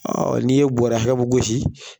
Ɔ n'i ye bɔrɛ hakɛ min gosi